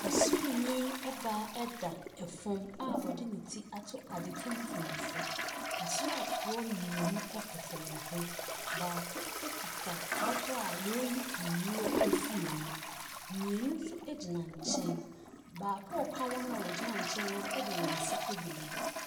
Ɔsraani baa da fam a ɔde ne ti ato ade tuntum so. Asraafoɔ mmienu koto ne ho. Baako kita bɔtɔ a wɔreyi nnura firi mu. Mmienu nso gyina nkyɛn. Baako a ɔka wɔn a wɔgyina nkyɛn no ho de ne nsa agu ne bo.